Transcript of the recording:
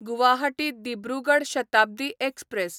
Guwahati Dibrugarh Shatabdi express